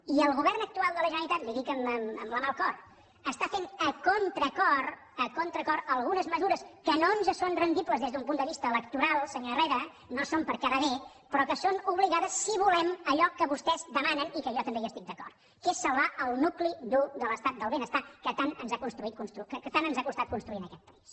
i el govern actual de la generalitat li ho dic amb la mà al cor està fent a contracor a contracor algunes mesures que no ens són rendibles des d’un punt de vista electoral senyor herrera no són per quedar bé però que són obligades si volem allò que vostès demanen i que jo també hi estic d’acord que és salvar el nucli dur de l’estat del benestar que tant ens ha costat construir en aquest país